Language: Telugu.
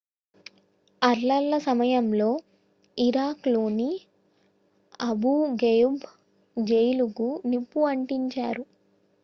అల్లర్ల సమయంలో ఇరాక్ లోని అబూ ఘ్రెయిబ్ జైలుకు నిప్పు అంటించారు